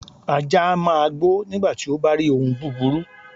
Ajá a máa gbó nígbàti ó bárí ohun búburú